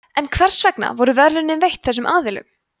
en hvers vegna voru verðlaunin veitt þessum aðilum